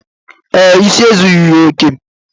Ee, isi ezughi ya oke